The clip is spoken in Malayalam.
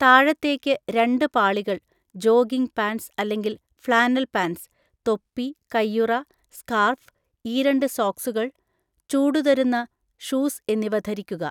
താഴെത്തേക്ക് രണ്ട് പാളികൾ (ജോഗിംഗ് പാൻ്റ്സ് അല്ലെങ്കിൽ ഫ്ലാനൽ പാൻ്റ്സ്), തൊപ്പി, കൈയുറ, സ്കാർഫ്, ഈരണ്ട് സോക്സുകൾ, ചൂടുതരുന്ന ഷൂസ് എന്നിവ ധരിക്കുക.